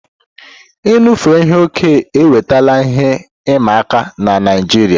Inufe ihe okẹ́ ewetala ihe ịma aka n'Naịjiria.